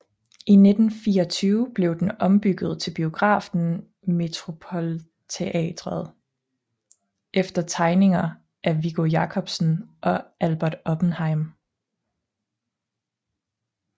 I 1924 blev den ombygget til biografen Metropolteatret efter tegninger af Viggo Jacobsen og Albert Oppenheim